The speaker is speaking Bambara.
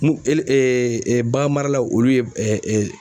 Mun bagan maralaw olu ye